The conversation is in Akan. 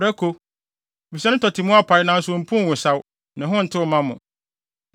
Prako, efisɛ ne tɔte mu apae nanso ompuw nwosaw; ne ho ntew mma mo.